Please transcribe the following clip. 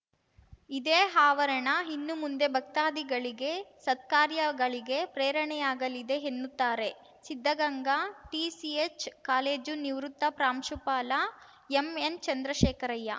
ಇದೇ ಆವರಣ ಇನ್ನು ಮುಂದೆ ಭಕ್ತಾದಿಗಳಿಗೆ ಸತ್ಕಾರ್ಯಗಳಿಗೆ ಪ್ರೇರಣೆಯಾಗಲಿದೆ ಎನ್ನುತ್ತಾರೆ ಸಿದ್ಧಗಂಗಾ ಟಿಸಿಎಚ್‌ ಕಾಲೇಜು ನಿವೃತ್ತ ಪ್ರಾಂಶುಪಾಲ ಎಂಎನ್‌ಚಂದ್ರಶೇಖರಯ್ಯ